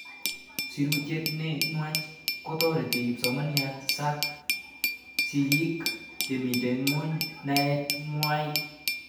Sirutiet ne nuach kotareti kipsomanik, sak sig'ik chemito ng'weny naet ng'wai